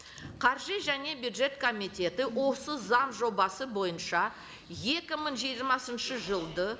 қаржы және бюджет комитеті осы заң жобасы бойынша екі мың жиырмасыншы жылдың